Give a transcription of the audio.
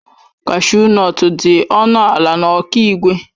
Kashu nọtu dị ọnụ ala na Okigwe.